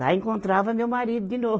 Lá encontrava meu marido de novo.